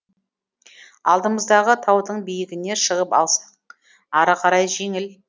алдымыздағы таудың биігіне шығып алсақ ары қарай жеңіл